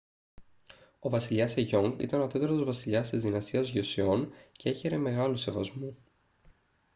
ο βασιλιάς σεγιόνγκ ήταν ο τέταρτος βασιλιάς της δυναστείας γιοσεόν και έχαιρε μεγάλου σεβασμού